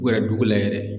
U yɛrɛ dugu la yɛrɛ